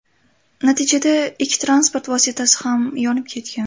Natijada ikki transport vositasi ham yonib ketgan.